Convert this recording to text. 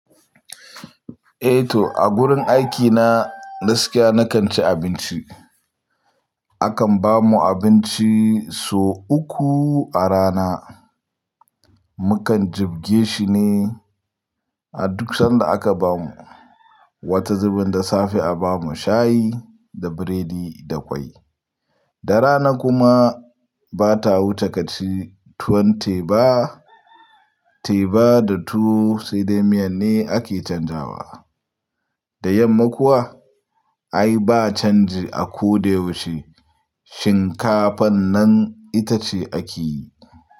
Eh to, a gurin aikina, gaskiya nakan ci abinci. Akan ba mu abinci sau uku a rana. Mukan jibge shi ne a duk sanda aka ba mu. Wata zubin da safe a ba mu shayi da biredi da ƙwai. Da rana kuma bata wuce kaci tuwon teba, teba da tuwo sai dai miyan ne ake canjawa. Da yamma kuwa ai ba canji a ko da yaushe, shinkafan nan ita ce ake yi.